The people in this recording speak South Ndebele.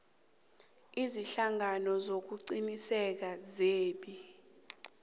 ziinhlangano zokuqinisekisa zebee